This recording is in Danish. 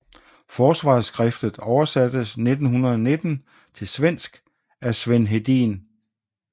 Forsvarsskriftet oversattes 1919 til svensk af Sven Hedin